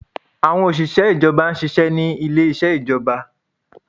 Àwọn òṣìṣẹ́ ìjọba ṣiṣẹ́ ni ilé isẹ ìjọba